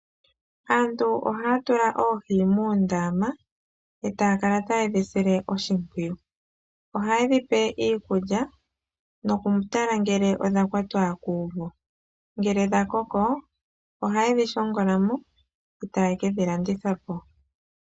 Aantu ohaya tula oohi moondama e taya kala taye dhi sile oshimpwiyu. Ohaye dhi pe iikulya nokutala ngele odha kwatwa kuuvu. Ngele dha koko ohaye dhi shongola mo nokudhilanditha po.